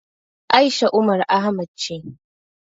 A'isha Umar Ahmad ce.